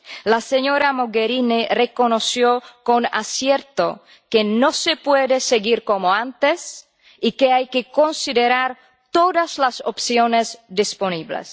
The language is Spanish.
La señora Mogherini reconoció con acierto que no se puede seguir como antes y que hay que considerar todas las opciones disponibles.